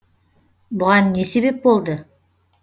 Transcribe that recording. бұған не себеп болды